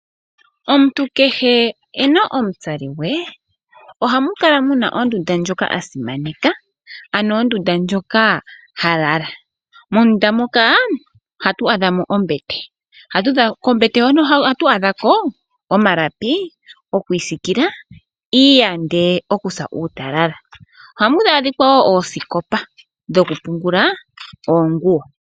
Omuntu kehe ena omutsali gwe ohamu kala muna ondunda ndjoka a simaneka, ano ondunda ndjoka ha lala. Mondunda moka ohatu adha mo ombete, kombete hono ohatu adha ko omalapi gokwiisikila iiyande okusa uutalala. Ohamu adhika wo oosikopa dhoku pungula oonguwo.